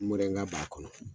Morɛnga b'a kɔnɔ